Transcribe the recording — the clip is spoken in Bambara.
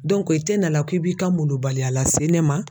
Dɔnku e te na ma k'i b'i ka molobaliya lase ne ma